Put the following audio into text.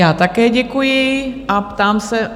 Já také děkuji a ptám se...